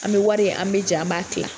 An bɛ wari an bɛ jɛn an ba kila.